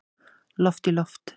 Loft í loft